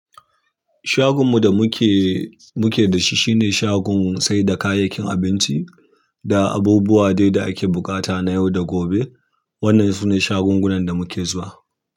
Shagon mu da muke, muke da shi shine shagon saida kayayyakin abinci da abubuwa dai da ake buƙata na yau da gobe. Wannan sune shagungunan da muke zuwa.